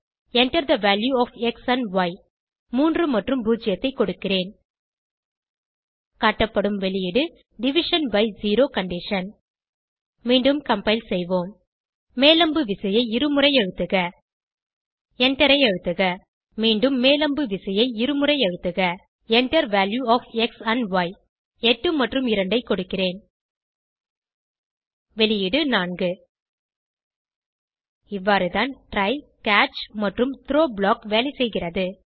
Enter the value of x and y 3 மற்றும் 0 ஐ கொடுக்கிறேன் காட்டப்படும் வெளியீடு டிவிஷன் பை செரோ கண்டிஷன் மீண்டும் கம்பைல் செய்வோம் மேல் அம்பு விசையை இருமுறை அழுத்துக எண்டரை அழுத்துக மீண்டும் மேல் அம்பு விசையை இருமுறை அழுத்துகிறேன் Enter value of x and y 8 மற்றும் 2 ஐ கொடுக்கிறேன் வெளியீடு 4 இவ்வாறுதான் ட்ரை கேட்ச் மற்றும் த்ரோ ப்ளாக் வேலைசெய்கிறது